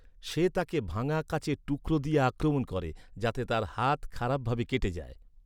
সে তাকে ভাঙা কাঁচের টুকরো দিয়ে আক্রমণ করে, যাতে তার হাত খারাপ ভাবে কেটে যায়।